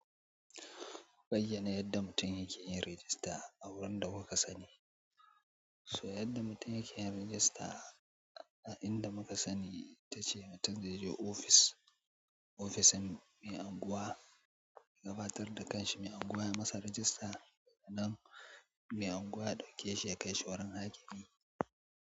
Ka bayyana yadda mutum yake yin rajista a wurin da kuka sani. So yadda mutum yake yin rajista a inda muka sani ita ce mutum zai je ofis, ofisan mai anguwa ya gabatar da ƙanshi mai anguwa ya masa rajista sannan mai anguwa ya ɗauke shi ya kai shi wurin hakimi.